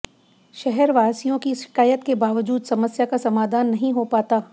शहरवासियों की शिकायत के बावजूद समस्या का समाधान नहीं हो पाता